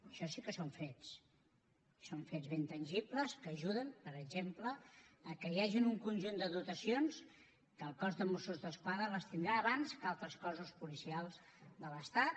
això sí que són fets i són fets ben tangibles que ajuden per exemple que hi hagi un conjunt de dotacions que el cos de mossos d’esquadra les tindrà abans que altres cossos policials de l’estat